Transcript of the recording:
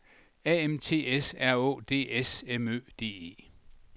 A M T S R Å D S M Ø D E